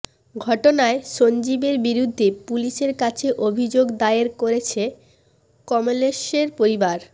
ঘটনায় সঞ্জীবের বিরুদ্ধে পুলিশের কাছে অভিযোগ দায়ের করেছে কমলেশের পরিবার